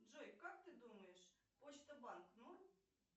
джой как ты думаешь почта банк норм